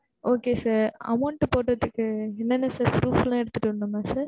okay sir amount போடுறதுக்கு என்ன என்ன sir proof லா எடுத்துட்டு வரணுமா sir?